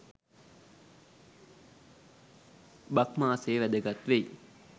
බක් මාසය වැදගත් වෙයි.